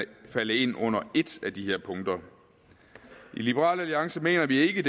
falde ind under et af de her punkter i liberal alliance mener vi ikke